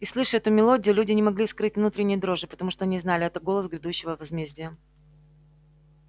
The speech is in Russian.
и слыша эту мелодию люди не могли скрыть внутренней дрожи потому что они знали это голос грядущего возмездия